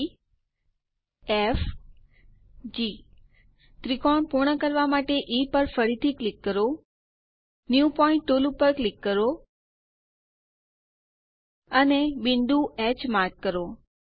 ઇ F G ત્રિકોણ પૂર્ણ કરવા માટે ઇ પર ફરીથી ક્લિક કરો ન્યૂ પોઇન્ટ ટુલ પર ક્લિક કરો અને બિંદુ હ માર્ક કરો